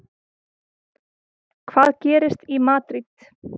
Hvað gerist í Madríd?